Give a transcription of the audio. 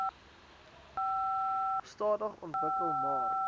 stadig ontwikkel maar